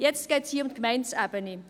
Hier geht es nun um die Gemeindeebene.